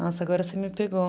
Nossa, agora você me pegou.